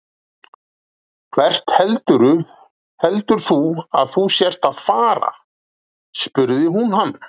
Hvert heldur þú að þú sért að fara? spurði hún hann.